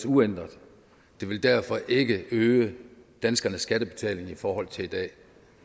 uændret det vil derfor ikke øge danskernes skattebetaling i forhold til i dag